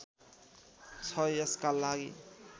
छ यसका लागि